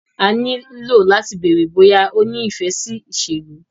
A ní lo láti bèèrè bóyá o ní ìfẹ́ sí ìṣèlú.